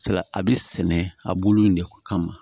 Salati a bi sɛnɛ a bulu in de kama